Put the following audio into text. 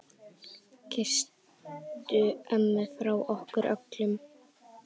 Kysstu ömmu frá okkur öllum.